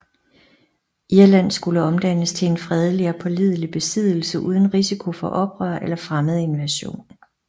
Irland skulle omdannes til en fredelig og pålidelig besiddelse uden risiko for oprør eller fremmed invasion